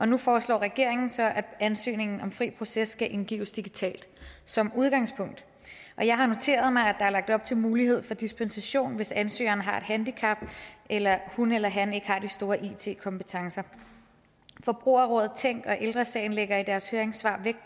nu foreslår regeringen så at ansøgninger om fri proces skal indgives digitalt som udgangspunkt jeg har noteret mig at der er lagt op til mulighed for dispensation hvis ansøgeren har et handicap eller hun eller han ikke har de store it kompetencer forbrugerrådet tænk og ældre sagen lægger i deres høringssvar vægt